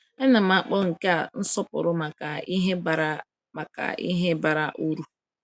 A na m akpọ nke a nsọpụrụ maka ihe bara maka ihe bara uru.